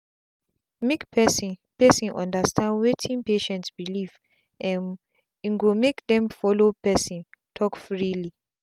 make person person understand wetin patient belief um ingo make them follow person talk freely.